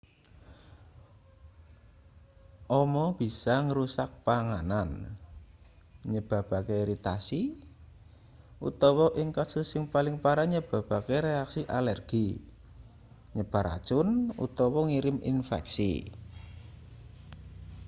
ama bisa ngrusak panganan nyebabake iritasi utawa ing kasus sing paling parah nyebabake reaksi alergi nyebar racun utawa ngirim infeksi